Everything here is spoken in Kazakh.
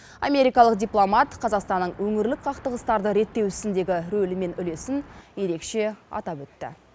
америкалық дипломат қазақстанның өңірлік қақтығыстарды реттеу ісіндегі рөлі мен үлесін ерекше атап өтті